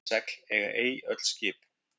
Öll segl eiga ei öll skip.